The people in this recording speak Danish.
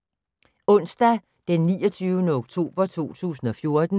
Onsdag d. 29. oktober 2014